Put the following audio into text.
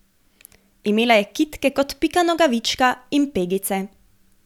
Imela je kitke kot Pika Nogavička in pegice.